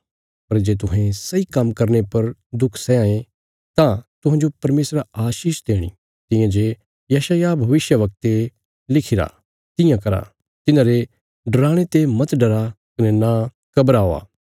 पर जे तुहें सही काम्म करने पर दुख सैयां ये तां तुहांजो परमेशरा आशीष देणी तियां जे यशायाह भविष्यवक्ते लिखिरा तियां करा तिन्हांरे डराणे ते मत डरा कने नां घबरावा